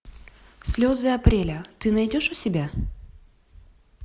слезы апреля ты найдешь у себя